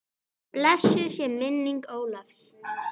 Blessuð sé minning Ólafs.